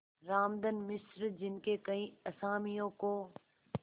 रामधन मिश्र जिनके कई असामियों को